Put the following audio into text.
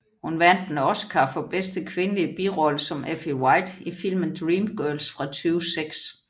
Hun vandt en Oscar for bedste kvindelige birolle som Effie White i filmen Dreamgirls fra 2006